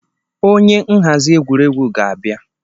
Onye nhazi egwuregwu ga-abịa.